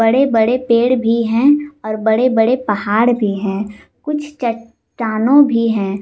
बड़े बड़े पेड़ भी हैं और बड़े बड़े पहाड़ भी हैं कुछ चट्टानों भी है।